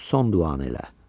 Son duanı elə.